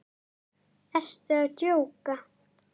Ertu að djóka!?